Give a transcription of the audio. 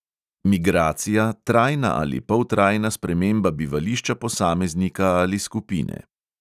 Migracija, trajna ali poltrajna sprememba bivališča posameznika ali skupine.